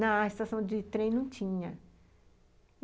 Na estação de trem não tinha.